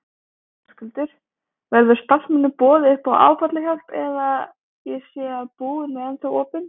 Höskuldur: Verður starfsmönnum boðið upp á áfallahjálp eða, ég sé að búðin er ennþá opin?